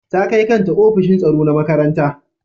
Ta kai kanta ofishin tsaro na makaranta.